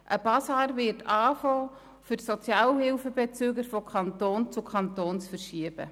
Es wird ein Basar beginnen, um die Sozialhilfebezüger vom einen in den anderen Kanton zu verschieben.